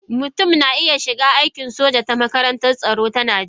Mutum na iya shiga aikin soja ta makarantar tsaro ta Najeriya